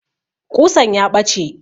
Ƙusan ya ɓace